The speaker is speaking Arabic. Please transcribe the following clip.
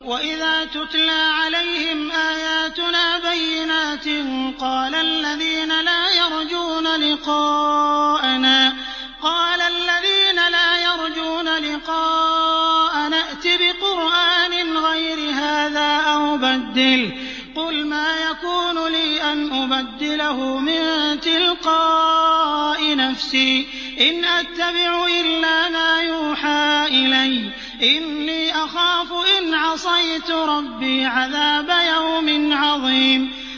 وَإِذَا تُتْلَىٰ عَلَيْهِمْ آيَاتُنَا بَيِّنَاتٍ ۙ قَالَ الَّذِينَ لَا يَرْجُونَ لِقَاءَنَا ائْتِ بِقُرْآنٍ غَيْرِ هَٰذَا أَوْ بَدِّلْهُ ۚ قُلْ مَا يَكُونُ لِي أَنْ أُبَدِّلَهُ مِن تِلْقَاءِ نَفْسِي ۖ إِنْ أَتَّبِعُ إِلَّا مَا يُوحَىٰ إِلَيَّ ۖ إِنِّي أَخَافُ إِنْ عَصَيْتُ رَبِّي عَذَابَ يَوْمٍ عَظِيمٍ